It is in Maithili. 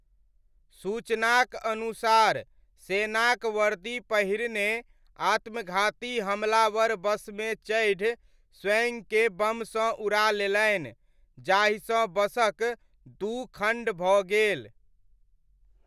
सूचनाक अनुसार सेनाक वर्दी पहिरने आत्मघाती हमलावर बसमे चढ़ि स्वयंकें बमसँ उड़ा लेलनि जाहिसँ बसक दू खण्ड भऽ गेल।